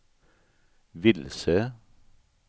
vilse